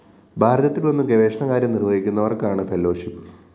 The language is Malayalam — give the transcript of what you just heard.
ഭാരതത്തില്‍ വന്ന് ഗവേഷണകാര്യം നിര്‍വഹിക്കുന്നവര്‍ക്കാണ് ഫെലോഷിപ്പ്‌